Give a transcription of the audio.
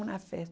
Uma